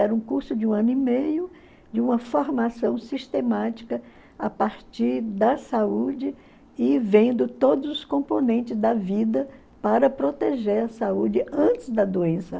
Era um curso de um ano e meio de uma formação sistemática a partir da saúde e vendo todos os componentes da vida para proteger a saúde antes da doença.